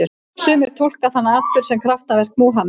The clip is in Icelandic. Sumir túlka þann atburð sem kraftaverk Múhameðs.